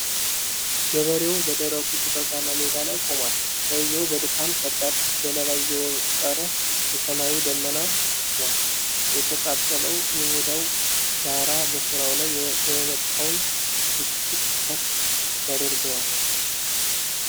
ገበሬው በደረቁ ጭጋግማ ሜዳ ላይ ቆሟል። ሰውየው በድካም ከባድ ገለባ እየወቀረ የሰማዩ ደመና ተሸክሟል። የተቃጠለው የሜዳው ዳራ በስራው ላይ የመጣውን ብስጭት ከፍ ያደርገዋል።